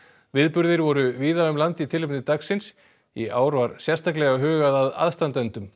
viðburðir voru víða um land í tilefni dagsins í ár var sérstaklega hugað að aðstandendum